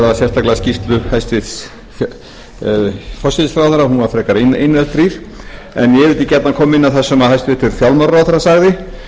ræða sérstaklega skýrslu hæstvirts forsætisráðherra hún var frekar innihaldsrýr en ég vildi gjarnan koma inn á það sem hæstvirtur fjármálaráðherra sagði